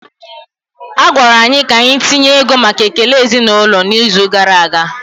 A gwara anyị ka anyị tinye ego maka ekele ezinụlọ n'izu gara aga